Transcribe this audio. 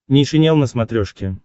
нейшенел на смотрешке